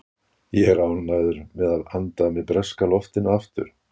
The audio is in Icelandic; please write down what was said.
Ég er ánægður með að anda að mér breska loftinu aftur.